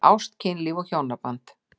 Ást, kynlíf og hjónaband